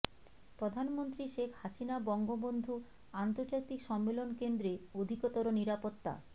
প্রধানমন্ত্রী শেখ হাসিনা বঙ্গবন্ধু আন্তর্জাতিক সম্মেলন কেন্দ্রে অধিকতর নিরাপত্তা